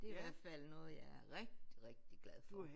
Det er i hvert fald noget jeg er rigtig rigtig glad for